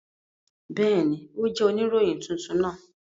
Bẹẹni, o jẹ onirohin tuntun naa.